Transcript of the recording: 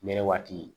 Nɛnɛ waati